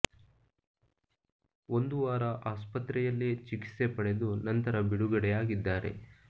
ಒಂದು ವಾರ ಆಸ್ಪತ್ರೆಯಲ್ಲೇ ಚಿಕಿತ್ಸೆ ಪಡೆದು ನಂತರ ಬಿಡುಗಡೆ ಆಗಿದ್ದಾರೆ